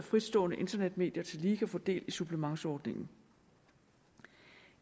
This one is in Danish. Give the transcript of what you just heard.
fritstående internetmedier tillige kan få del i supplementsordningen